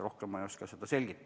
Rohkem ei oska ma seda selgitada.